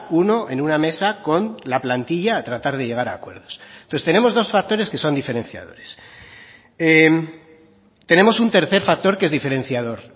uno en una mesa con la plantilla a tratar de llegar a acuerdos entonces tenemos dos factores que son diferenciadores tenemos un tercer factor que es diferenciador